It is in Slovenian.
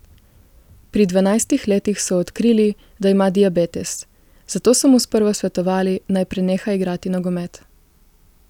Pri dvanajstih letih so odkrili, da ima diabetes, zato so mu sprva svetovali, naj preneha igrati nogomet.